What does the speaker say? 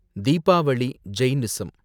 Deepavali, Jainism